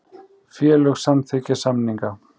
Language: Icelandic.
Félög samþykkja samninga